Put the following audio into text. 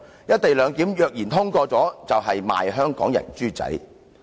"一地兩檢"若然通過，就是"賣香港人豬仔"。